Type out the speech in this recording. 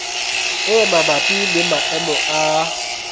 e mabapi le maemo a